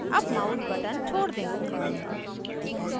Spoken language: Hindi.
अब mouse button छोड़ दें